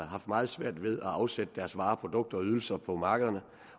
haft meget svært ved at afsætte deres varer produkter og ydelser på markederne